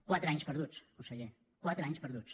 quatre anys perduts conseller quatre anys perduts